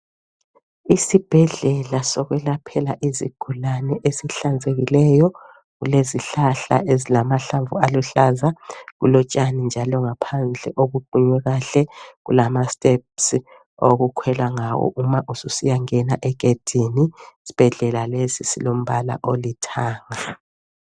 Isibhedlela sokwelaphela izigulane esihlanzekileyo . Kulezihlahla ezilamahlamvu aluhlaza. Kulotshani njalo ngaphandle obuqunywe kahle . Kulama (steps) okukhwela ngawo uma ususiyangena egedini. Isibhedlela lesi silombala olithanga.